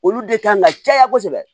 Olu de kan ka caya kosɛbɛ